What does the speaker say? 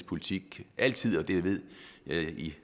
politik altid og det ved i